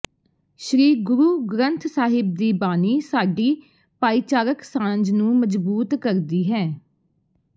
ਸ੍ਰੀ ਗੁਰੂ ਗ੍ਰੰਥ ਸਾਹਿਬ ਦੀ ਬਾਣੀ ਸਾਡੀ ਭਾਈਚਾਰਕ ਸਾਂਝ ਨੂੰ ਮਜਬੂਤ ਕਰਦੀ ਹੈ